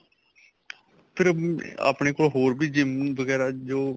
ਫ਼ਿਰ ਆਪਣੇਂ ਕੋਲ ਹੋਰ ਵੀ GYM ਵਗੈਰਾ ਜੋ